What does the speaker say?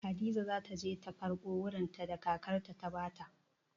Hadiza za ta je ta karɓo wurinta da kakarta ta ba ta.